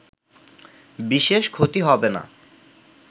বিশেষ ক্ষতি হবে না